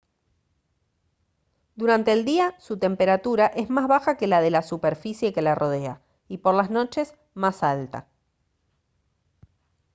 durante el día su temperatura es más baja que la de la superficie que la rodea y por las noches más alta